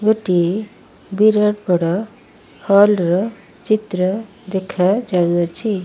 ଗୋଟିଏ ବିରାଟ ବଡ଼ ହଲ୍ ର ଚିତ୍ର ଦେଖା ଯାଉଅଛି।